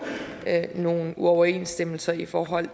nogle uoverensstemmelser i forhold